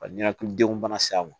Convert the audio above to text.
Ka ɲɛnɛkilidenw bana s'a ma